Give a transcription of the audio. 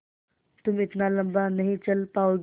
तुम इतना लम्बा नहीं चल पाओगे